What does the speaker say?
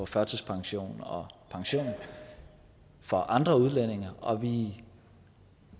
førtidspension og pension for andre udlændinge og vi